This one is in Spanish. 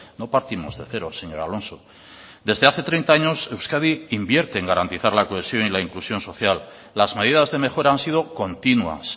no partimos de cero señor alonso desde hace treinta años euskadi invierte en garantizar la cohesión y la inclusión social las medidas de mejora han sido continuas